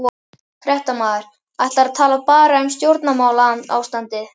Fréttamaður: Ætlarðu að tala bara um stjórnmálaástandið?